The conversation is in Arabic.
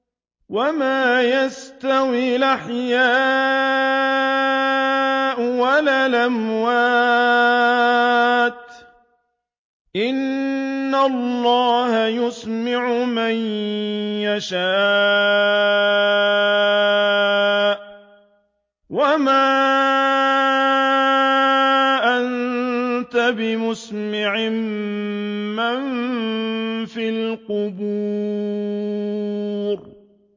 وَمَا يَسْتَوِي الْأَحْيَاءُ وَلَا الْأَمْوَاتُ ۚ إِنَّ اللَّهَ يُسْمِعُ مَن يَشَاءُ ۖ وَمَا أَنتَ بِمُسْمِعٍ مَّن فِي الْقُبُورِ